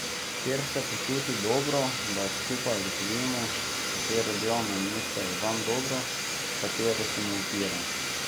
Kje se počuti dobro, da skupaj ugotovimo, katero delovno mesto je zanj dobro, katero se mu odpira.